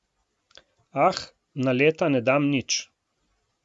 Ah, na leta ne dam nič.